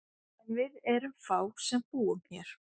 En við erum fá sem búum hér.